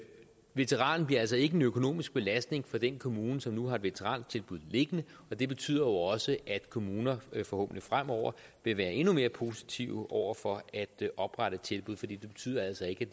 veteranen bliver altså ikke en økonomisk belastning for den kommune som nu har et veterantilbud liggende det betyder jo også at kommuner forhåbentlig fremover vil være endnu mere positive over for at oprette tilbud for det betyder altså ikke